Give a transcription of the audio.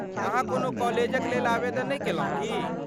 अहाँ कोनो कॉलेज क लेल आवेदन नहि केलहुँ की?